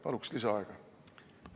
Paluksin lisaaega!